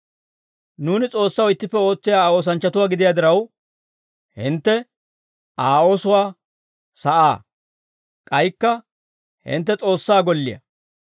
Nuuni S'oossaw ittippe ootsiyaa Aa oosanchchatuwaa gidiyaa diraw, hintte Aa oosuwaa sa'aa. K'aykka hintte S'oossaa golliyaa.